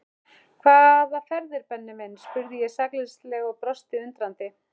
Hvaða ferðir Benni minn? spurði ég sakleysislega og brosti undrandi.